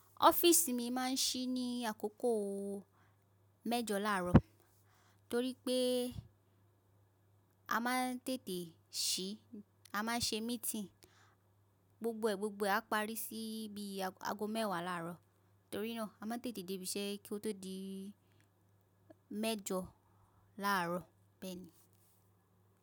Ọ́fíìsì mi máa ń ṣí ní àkókò mẹ́jọ láàárọ̀ torí pé a máa ń tètè ṣí, a máa ń ṣe meeting. Gbogbo ẹ̀ gbogbo ẹ̀ a parí sí bíi ag, ago mẹ́wàá láàárọ̀. Torí náà a máa ń tètè débíṣẹ́ kó tó di mẹ́jọ láàárọ̀ bẹ́ẹ̀ni.